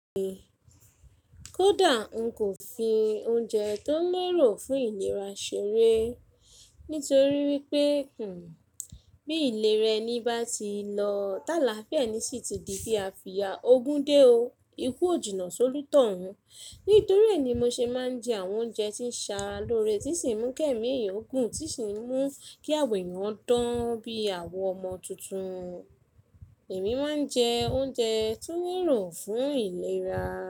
Kódà ń kò fi oúnjẹ tó ń rò fún ìlera ṣeré, nítorí wípé, bí ìlera ẹni bá ti lọ, táa lafi ẹni sì ti di bí a fi ya ogún dé o. Ikú ò jìnnà solútò ọ̀un. Nítorí è ni mo ṣe máa ń jẹ àwọn oúnjẹ tí ń ṣa lórí, tí sì ń mú kẹ́mi èyìn ògùn, tí sì ń mú kí àwọ èèyàn dán bí àwọn ọmọ tuntun. Èmi máa ń jẹ oúnjẹ tó ń rò fún ìlera.